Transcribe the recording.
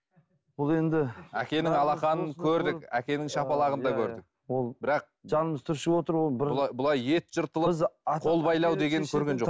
ол енді әкенің алақанын көрдік әкенің шапалағын да көрдік ол бірақ жанымыз түршігіп отыр ол былай былай ет жыртылып қол байлау деген көрген жоқ